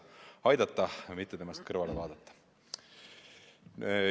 Jah, aidata, mitte temast kõrvale vaadata.